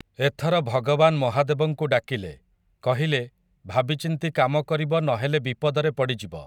ଏଥର ଭଗବାନ୍ ମହାଦେବଙ୍କୁ ଡାକିଲେ, କହିଲେ, ଭାବି ଚିନ୍ତି କାମ କରିବ ନ ହେଲେ ବିପଦରେ ପଡ଼ିଯିବ ।